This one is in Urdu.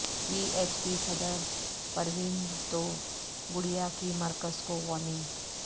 وی ایچ پی صدر پروین توگڑیا کی مرکز کو وارننگ